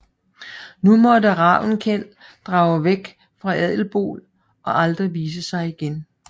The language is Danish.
Nu måtte Ravnkel drage væk fra Adelból og aldrig vise sig igen